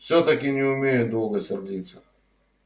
всё-таки не умею долго сердиться